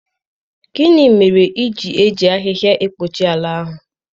Gịnị mere i ji eji ahịhịa ekpuchi ala ahụ?